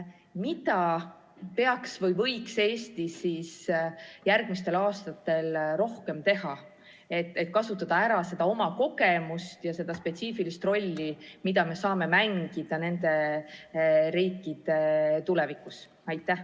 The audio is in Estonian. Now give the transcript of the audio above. Mida peaks Eesti tegema või võiks järgmistel aastatel rohkem teha, et kasutada ära oma kogemust ja seda spetsiifilist rolli, mida me saame mängida nende riikide tulevikus?